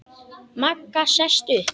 Magga sest upp.